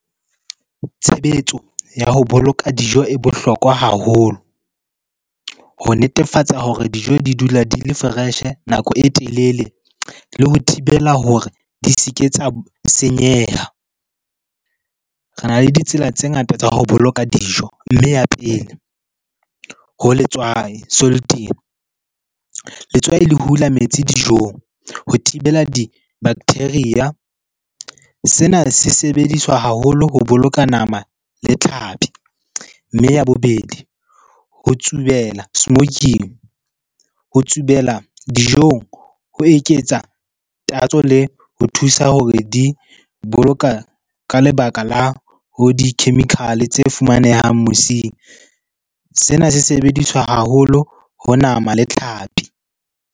Tshebetso ya ho boloka dijo e bohlokwa haholo ho netefatsa hore dijo di dula di le fresh-e nako e telele le ho thibela hore di se ke tsa senyeha. Re na le ditsela tse ngata tsa ho boloka dijo. Mme ya pele, ho letswai . Letswai le hula metsi dijong ho thibela di-bacteria. Sena se sebediswa haholo ho boloka nama le tlhapi. Mme ya bobedi ho tsubela, smoking. Ho tsubela dijong ho eketsa tatso le ho thusa hore di boloka ka lebaka la ho di-chemical-e tse fumanehang mosing. Sena se sebediswa haholo ho nama le tlhapi.